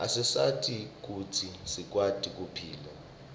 asisita kutsi sikwati kuphila